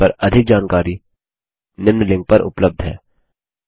इस पर अधिक जानकारी निम्न लिंक पर उपलब्ध है